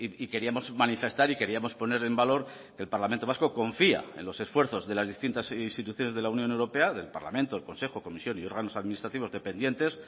y queríamos manifestar y queríamos poner en valor que el parlamento vasco confía en los esfuerzos de las distintas instituciones de la unión europea del parlamento el consejo comisión y órganos administrativos dependientes